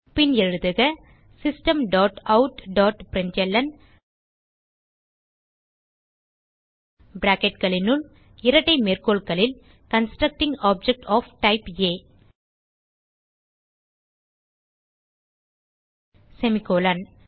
பின் எழுதுக system dot out dot println bracketகளுனுள் இரட்டை மேற்கோள்களில் constructing object of type A semicolon